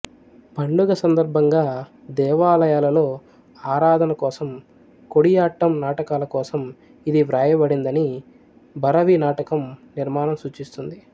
పండుగ సందర్భంగా దేవాలయాలలో ఆరాధన కోసం కొడియాట్టం నాటకాల కోసం ఇది వ్రాయబడిందని భరవి నాటకం నిర్మాణం సూచిస్తుంది